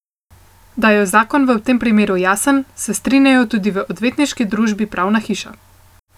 Da je zakon v tem primeru jasen, se strinjajo tudi v odvetniški družbi Pravna hiša.